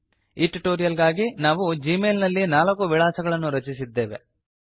ಈ ಟ್ಯುಟೋರಿಯಲ್ ಗಾಗಿ ನಾವು ಜೀ ಮೇಲ್ ನಲ್ಲಿ ನಾಲ್ಕು ವಿಳಾಸಗಳನ್ನು ರಚಿಸಿದ್ದೇವೆ